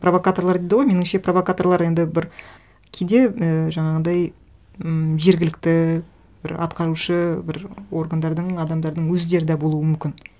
провокаторлар дейді ғой меніңше провокаторлар енді бір кейде і жаңағындай м жергілікті бір атқарушы бір органдардың адамдардың өздері де болуы мүмкін